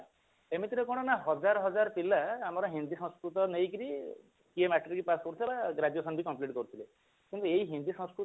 ଏମିତିରେ କଣ ନା ହଜାର ହଜାର ପିଲା ଆମର ହିନ୍ଦୀ ସଂସ୍କୃତ ନେଇକି ସିଏ matric pass କରୁଥିଲେ ଆଉ graduation ବି complete କରୁଥିଲେ ସେମଟି ଏଇ ହିନ୍ଦୀ ସଂସ୍କୃତ